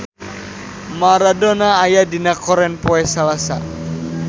Maradona aya dina koran poe Salasa